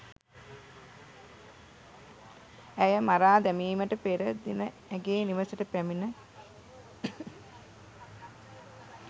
ඇය මරා දැමිමට පෙර දින ඇගේ නිවසට පැමිණ